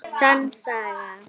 Sönn saga.